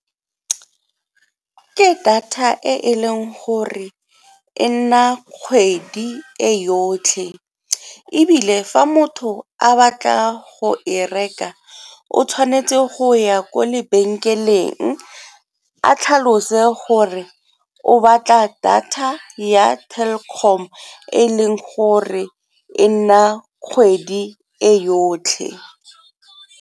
Ke data e e leng gore e nna kgwedi e yotlhe ebile fa motho a batla go e reka o tshwanetse go ya ko lebenkeleng a tlhalose gore o batla data ya Telkom e e leng gore e nna kgwedi e yotlhe.